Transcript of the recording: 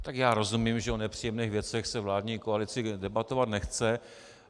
Tak já rozumím, že o nepříjemných věcech se vládní koalici debatovat nechce.